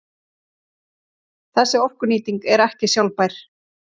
Þessi orkunýting er ekki sjálfbær.